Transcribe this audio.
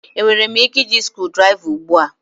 Enwere m ike iji screwdriver ugbu a?